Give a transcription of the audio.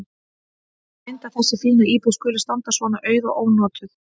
Synd að þessi fína íbúð skuli standa svona auð og ónotuð.